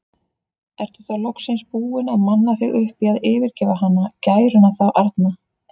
Ertu þá loksins búinn að manna þig upp í að yfirgefa hana, gæruna þá arna?